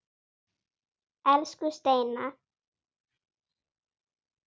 Elsku Steina.